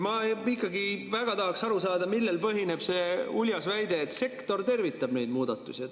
Ma ikkagi väga tahaks aru saada, millel põhineb see uljas väide, et sektor tervitab neid muudatusi.